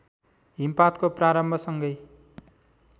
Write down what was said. हिमपातको प्रारम्भसँगै